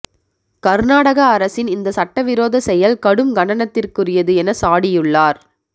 கர்நாடக அரசின் இந்த சட்டவிரோத செயல் கடும் கண்டனத்திற்குரியது என சாடியுள்ளார்